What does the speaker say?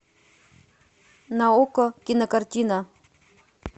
на окко кинокартина